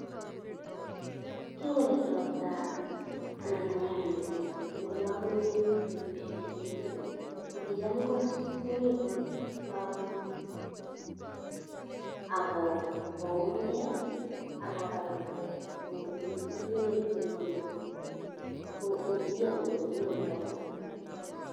Kingobet robta anan koyam emet eng ole aminye betusiek chekimi let, ko kicham ko, komite lagok ago koumgei agoba ingo gur kurwet we ingo, ko kigiyoni kole konyone robta.